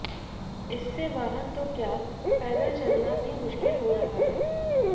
इससे वाहन तो क्या पैदल चलना भी मुश्किल हो रहा है